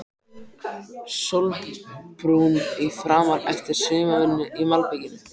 Sólbrúnn í framan eftir sumarvinnu í malbiki.